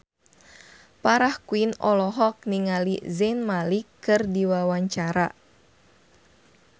Farah Quinn olohok ningali Zayn Malik keur diwawancara